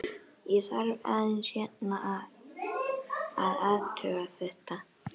Ég þarf aðeins hérna að. að athuga þetta.